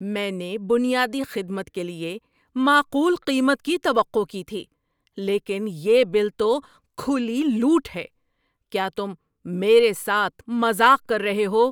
میں نے بنیادی خدمت کے لیے معقول قیمت کی توقع کی تھی، لیکن یہ بل تو کھلی لوٹ ہے! کیا تم میرے ساتھ مذاق کر رہے ہو؟